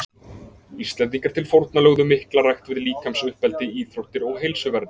Íslendingar til forna lögðu mikla rækt við líkamsuppeldi, íþróttir og heilsuvernd.